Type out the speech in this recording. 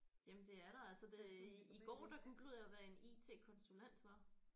Jamen det er der altså det i går der googlede jeg hvad en IT-konsulent var